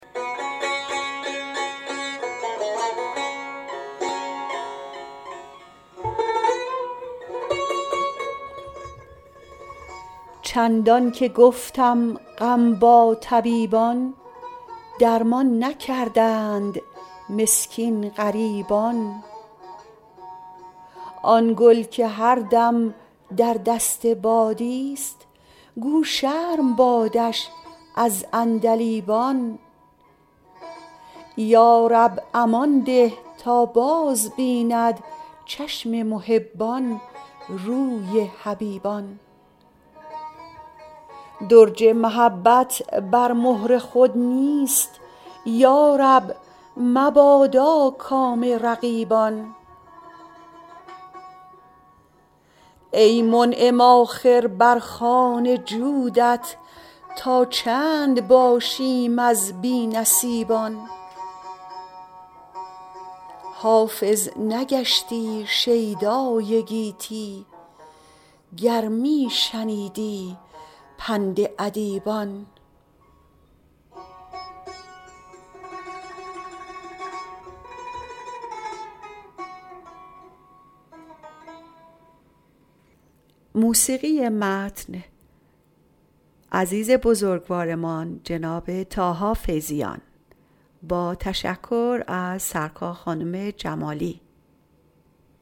چندان که گفتم غم با طبیبان درمان نکردند مسکین غریبان آن گل که هر دم در دست بادیست گو شرم بادش از عندلیبان یا رب امان ده تا بازبیند چشم محبان روی حبیبان درج محبت بر مهر خود نیست یا رب مبادا کام رقیبان ای منعم آخر بر خوان جودت تا چند باشیم از بی نصیبان حافظ نگشتی شیدای گیتی گر می شنیدی پند ادیبان